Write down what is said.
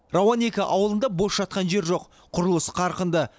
рауан екіде ауылында бос жатқан жер жоқ құрылыс қарқынды